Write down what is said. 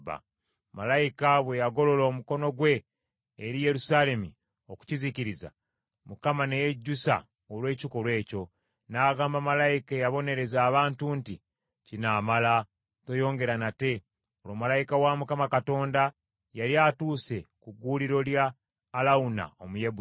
Malayika bwe yagolola omukono gwe eri Yerusaalemi okukizikiriza, Mukama ne yejjusa olw’ekikolwa ekyo, n’agamba malayika eyabonereza abantu nti, “Kinaamala, toyoongera nate.” Olwo malayika wa Mukama Katonda yali atuuse ku gguuliro lya Alawuna Omuyebusi.